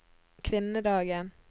kvinnedagen